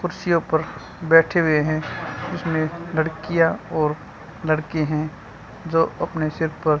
कुर्सियों पर बैठे हुए हैं उसमें लड़कियां और लड़के हैं जो अपने सिर पर--